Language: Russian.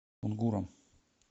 кунгуром